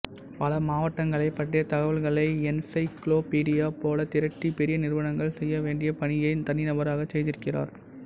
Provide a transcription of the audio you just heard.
பல மாவட்டங்களைப் பற்றிய தகவல்களை என்சைக்ளோபீடியா போலத் திரட்டி பெரிய நிறுவனங்கள் செய்ய வேண்டிய பணியைத் தனிநபராகச் செய்திருக்கிறார்